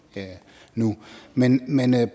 nu men men jeg